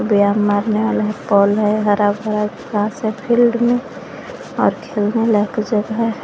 व्याम मारने वाला है एक पोल है हरा भरा घास है फील्ड में और खेलने लायक जगह है।